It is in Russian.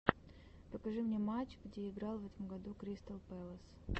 покажи мне матч где играл в этом году кристал пэлас